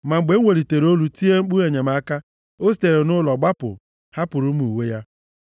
Ma mgbe m welitere olu tie mkpu enyemaka o sitere nʼụlọ gbapụ hapụrụ m uwe ya.”